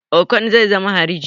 Okon zai zama hariji